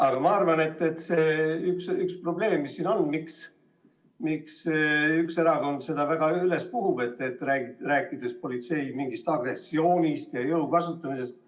Aga ma arvan, et ma saan aru, milles seisneb see probleem, miks üks erakond seda teemat väga üles on puhunud, rääkides mingisugusest politsei agressioonist ja jõu kasutamisest.